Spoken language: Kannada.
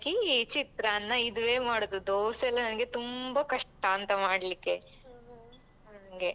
ಚಿತ್ರಾನ್ನ ಇದುವೇ ಮಾಡುದು ದೋಸೆಯೆಲ್ಲ ನಂಗೆ ತುಂಬ ಕಷ್ಟಾಂತ ಮಾಡ್ಲಿಕ್ಕೆ ಹಂಗೆ.